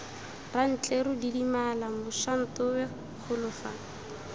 rantleru didimala mošantowe golo fa